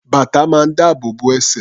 Bàtà máa ń dáàbò bo ẹsẹ̀.